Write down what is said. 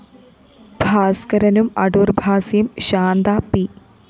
ഭാസ്‌കരനും അടൂര്‍ഭാസിയും ശാന്ത പി